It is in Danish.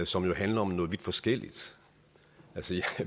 som jo handler om noget vidt forskelligt